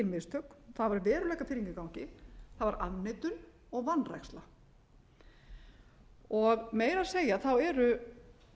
mistök það var veruleikafirring í gangi það var afneitun og vanræksla meira að segja eru